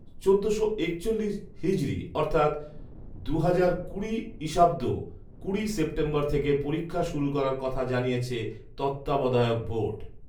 চোদ্দশো একচল্লিশ হিজরী অর্থাৎ দুহাজার কুড়ি ঈসাব্দ কুড়ি সেপ্টেম্বর থেকে পরীক্ষা শুরু করার কথা জানিয়েছে তত্ত্বাবধায়ক বোর্ড।